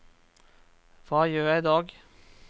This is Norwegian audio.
hva gjør jeg idag